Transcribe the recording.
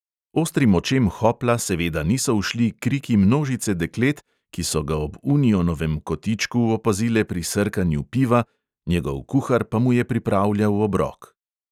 Ostrim očem hopla seveda niso ušli kriki množice deklet, ki so ga ob unionovem kotičku opazile pri srkanju piva, njegov kuhar pa mu je pripravljal obrok.